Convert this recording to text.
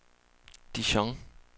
Dijon